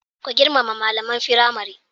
Ku girmama malaman firamare.